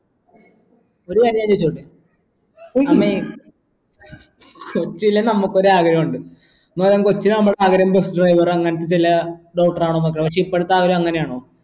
ഒരു കാര്യം ഞാൻ ചോയിച്ചോട്ടെ കൊച്ചിലെ നമുക്ക് ഒരു ആഗ്രഹം ഉണ്ട് എന്ന് പറയുമ്പോൾ കൊച്ചിലെ നമ്മുടെ ആഗ്രഹം bus driver അങ്ങനത്തെ ചില doctor ആവണം എന്നൊക്കെ പക്ഷേ ഇപ്പോഴത്തെ ആഗ്രഹം അങ്ങനെയാണോ